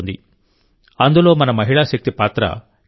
అందులో మన మహిళా శక్తి పాత్ర కీలకం